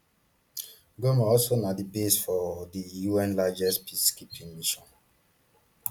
goma also na di base for di un largest peacekeeping mission